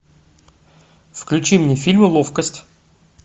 включи мне фильм ловкость